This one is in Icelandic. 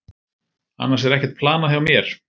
Annars er ekkert planað hjá mér.